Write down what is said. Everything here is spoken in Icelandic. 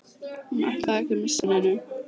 Hún ætlaði ekki að missa af neinu.